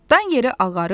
Dan yeri ağarır.